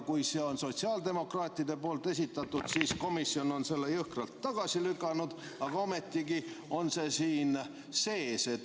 Kui see oli sotsiaaldemokraatide esitatud, siis komisjon lükkas selle jõhkralt tagasi, aga ometigi on see siin sees.